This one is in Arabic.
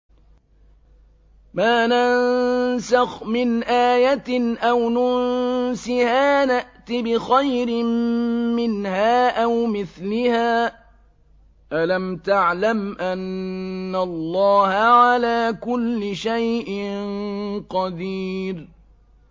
۞ مَا نَنسَخْ مِنْ آيَةٍ أَوْ نُنسِهَا نَأْتِ بِخَيْرٍ مِّنْهَا أَوْ مِثْلِهَا ۗ أَلَمْ تَعْلَمْ أَنَّ اللَّهَ عَلَىٰ كُلِّ شَيْءٍ قَدِيرٌ